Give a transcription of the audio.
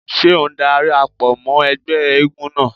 Ṣé ò ń dara pọ̀ mọ́ ẹgbẹ́ eégún náà?